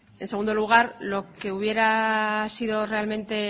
en segundo lugar lo que hubiera sido realmente